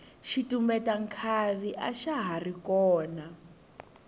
xitumbeta nkhavi axa hari kona